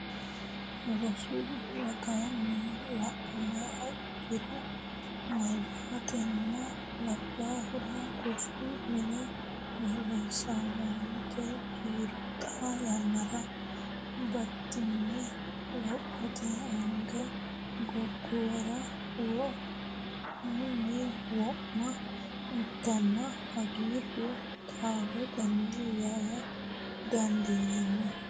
Rosu ragaanni la niha ikkiro meyatinna labbaahu rosu mine borreessamate kiiro xaa yannara batinye lophote aana gobbuwara wo munni wo ma ikkano hoogiro taaltanni yaa dandiinanni.